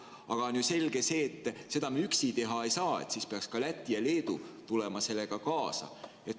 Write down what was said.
Aga on ju selge see, et üksi me seda teha ei saa, siis peaksid ka Läti ja Leedu tulema sellega kaasa.